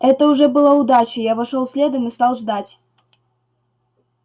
это уже была удача я вошёл следом и стал ждать